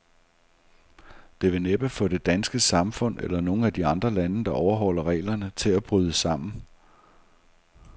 Det vil næppe få det danske samfund, eller nogen af de andre lande, der overholder reglerne, til at bryde sammen.